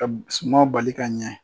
Ka sumanw bali ka ɲɛ.